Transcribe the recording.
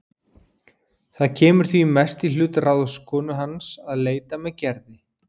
Það kemur því mest í hlut ráðskonu hans að leita með Gerði.